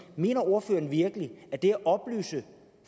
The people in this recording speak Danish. mener ordføreren virkelig at det at oplyse